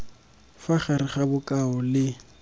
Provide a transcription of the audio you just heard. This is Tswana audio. fa gare ga bokao le